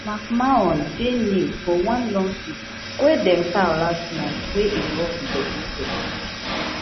mcmahon dey named for one lawsuit wey dem file last month wey involve di wwe